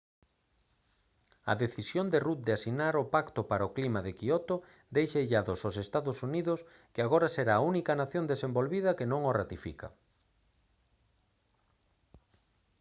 a decisión de rudd de asinar o pacto para o clima de quioto deixa illado aos ee uu que agora será a única nación desenvolvida que non o ratifica